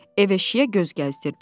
Ev eşiyə göz gəzdirdi.